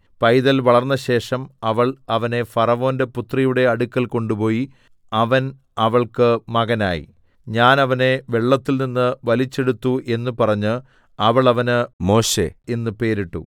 പൈതൽ വളർന്നശേഷം അവൾ അവനെ ഫറവോന്റെ പുത്രിയുടെ അടുക്കൽ കൊണ്ട് പോയി അവൻ അവൾക്കു മകനായി ഞാൻ അവനെ വെള്ളത്തിൽനിന്ന് വലിച്ചെടുത്തു എന്ന് പറഞ്ഞ് അവൾ അവന് മോശെ എന്നു പേരിട്ടു